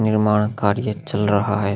निर्माण कार्य चल रहा है --